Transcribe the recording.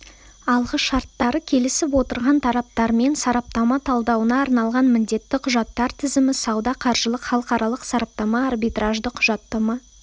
алғышарттары келісіп отырған тараптармен сараптама талдауына арналған міндетті құжаттар тізімі сауда-қаржылық халықаралық-сараптама арбитражды құжаттама